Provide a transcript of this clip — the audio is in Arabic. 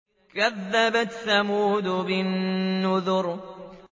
كَذَّبَتْ ثَمُودُ بِالنُّذُرِ